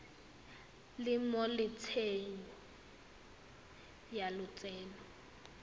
le mo tsentsho ya lotseno